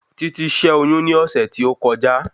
Títí ṣẹ́ oyún ní ọ̀sẹ̀ tí ó kọjá